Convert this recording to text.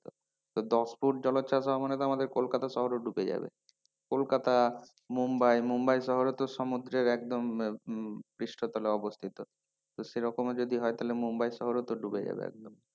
তো দশ ফুট জলোচ্ছ্বাস হওয়া মানে তো আমাদের কলকাতা শহরও ডুবে যাবে কলকাতা মুম্বাই মুম্বাই শহরও তো সমুদ্রের একদম পৃষ্ঠতলে অবস্থিত তো সেরকমও যদি হয় তাহলে মুম্বাই শহর ও তো ডুবে যাবে একদম।